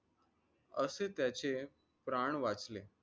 असे त्याचे प्राण वाचले.